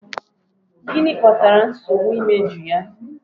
Gịnị kpatara nsogbu imeju ya?